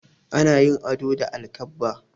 Ana yin ado da alkabba.